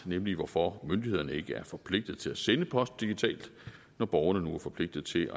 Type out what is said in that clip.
nemlig hvorfor myndighederne ikke er forpligtet til at sende post digitalt når borgerne nu er forpligtet til